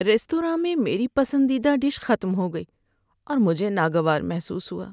Restaurant میں میری پسندیدہ ڈش ختم ہو گئی اور مجھے ناگوار محسوس ہوا۔